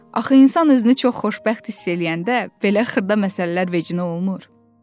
Axı insan özünü çox xoşbəxt hiss eləyəndə belə xırda məsələlər vecinə olmur.